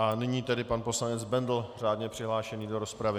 A nyní tedy pan poslanec Bendl, řádně přihlášený do rozpravy.